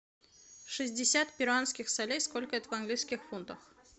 шестьдесят перуанских солей сколько это в английских фунтах